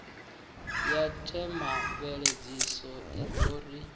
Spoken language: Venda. ya themamveledziso i ḓo ri